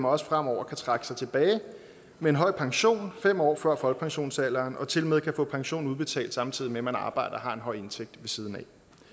også fremover kan trække sig tilbage med en høj pension fem år før folkepensionsalderen og tilmed kan få pensionen udbetalt samtidig med at man arbejder og har en høj indtægt ved siden af